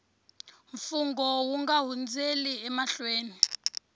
mfungho u nga hundzeli emahlweni